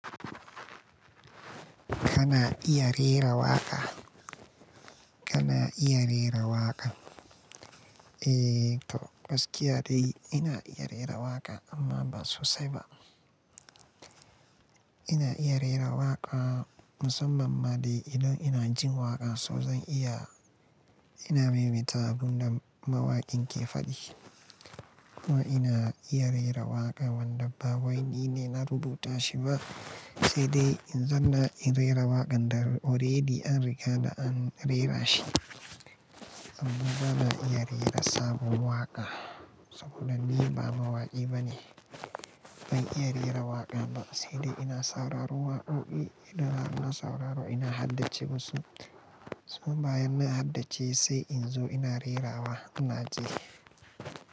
Kana iya rera waƙa? Kana iya rera waƙa? Eh to, gaskiya de ina iya rera waƙa amma ba sosai ba. Ina iya rera waƙa musamman ma dai idan ina jin waƙa, so zan iya, ina memita abun da mawaƙin ke faɗi. Kuma ina iya rera waƙa wanda ba wai nine na rubuta shi ba, sai dai in zan na in rera waƙan da already an riga da an rera shi. Amma ban iya rera sabon waƙa saboda ni ba mawaƙi ba ne. Ban iya rera waƙa ba sai dai ina sauraro waƙoƙi idan har ina sauraro ina haddace musu. So bayan na haddace sai in zo ina rerawa, ina ceh.